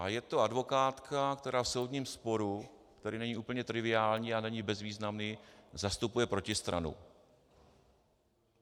A je to advokátka, která v soudním sporu, který není úplně triviální a není bezvýznamný, zastupuje protistranu.